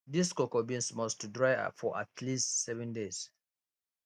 dis cocoa beans must to dry for at least seven days